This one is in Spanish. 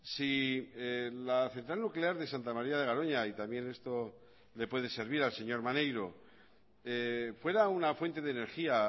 si la central nuclear de santa maría de garoña y también esto le puede servir al señor maneiro fuera una fuente de energía